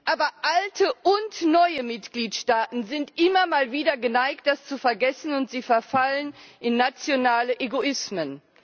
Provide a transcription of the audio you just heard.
Aber alte und neue Mitgliedsstaaten sind immer mal wieder geneigt, das zu vergessen, und verfallen in nationale Egoismen.